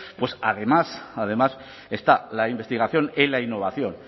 además además está la investigación y la innovación